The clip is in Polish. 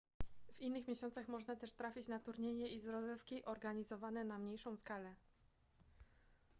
w innych miesiącach można też trafić na turnieje i rozgrywki organizowane na mniejszą skalę